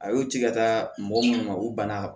A y'u ci ka taa mɔgɔ munnu ma u banna